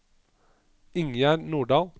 Ingjerd Nordal